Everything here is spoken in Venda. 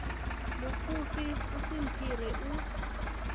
mupfufhi u si mphire u